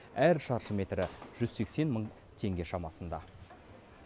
әр шаршы метрі жүз сексен мың теңге шамасында